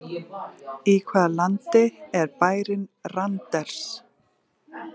Í hvaða landi er bærinn Randers?